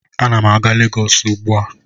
Ana m a-ga Legọs ugbu a